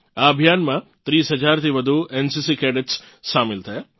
આ અભિયાનમાં 30 હજારથી વધુ એનસીસી કેડેટ્સ સામેલ થયાં